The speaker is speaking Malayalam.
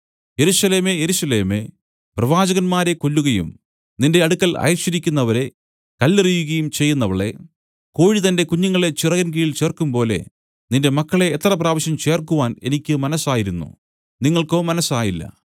യെരൂശലേമേ യെരൂശലേമേ പ്രവാചകന്മാരെ കൊല്ലുകയും നിന്റെ അടുക്കൽ അയച്ചിരിക്കുന്നവരെ കല്ലെറിയുകയും ചെയ്യുന്നവളേ കോഴി തന്റെ കുഞ്ഞുങ്ങളെ ചിറകിൻ കീഴിൽ ചേർക്കുംപോലെ നിന്റെ മക്കളെ എത്ര പ്രാവശ്യം ചേർക്കുവാൻ എനിക്ക് മനസ്സായിരുന്നു നിങ്ങൾക്കോ മനസ്സായില്ല